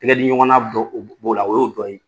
Tigɛdiɲɔgɔnna b'o la o y'o dɔ ye.